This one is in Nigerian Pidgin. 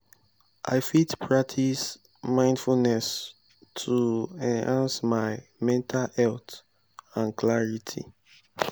i fit practice mindfulness to enhance my mental health and clarity.